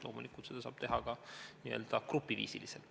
Loomulikult saab seda teha ka n-ö grupiviisiliselt.